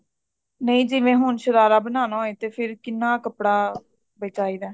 ਨਹੀਂ ਜਿਵੇਂ ਹੁਣ ਸ਼ਰਾਰਾ ਬਣਾਉਣਾ ਹੋਵੇ ਤੇ ਫ਼ੇਰ ਕਿੰਨਾ ਕੱਪੜਾ ਚਾਹੀਦਾ